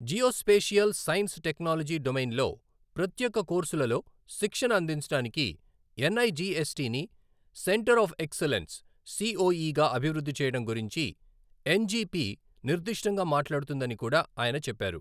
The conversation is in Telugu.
జియోస్పేషియల్ సైన్స్ టెక్నాలజీ డొమైన్లో ప్రత్యేక కోర్సులలో శిక్షణ అందించడానికి ఎన్ఐజిఎస్టిని సెంటర్ ఆఫ్ ఎక్సలెన్స్ సిఒఈ గా అభివృద్ధి చేయడం గురించి ఎన్జీపీ నిర్దిష్టంగా మాట్లాడుతుందని కూడా ఆయన చెప్పారు.